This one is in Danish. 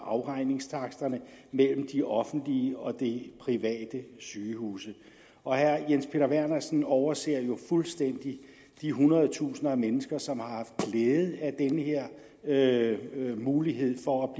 afregningstaksterne mellem de offentlige og de private sygehuse og herre jens peter vernersen overser jo fuldstændig de hundredtusinder mennesker som har haft glæde af denne mulighed for at